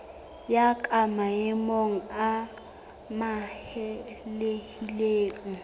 ya ka maemo a amohelehileng